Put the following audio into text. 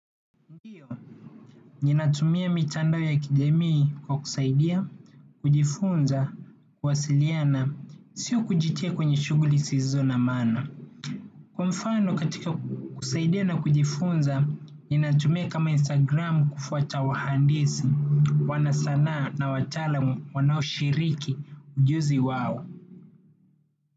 Ndio, ninatumia mitandao ya kijamii kwa kusaidia, kujifunza, kuwasiliana, sio kujitia kwenye shughuli sizo na maana. Kwa mfano katika kusaidia na kujifunza, ninatumia kama Instagram kufuata wahandisi, wanasanaa na watalaam wanao shiriki ujuzi wao.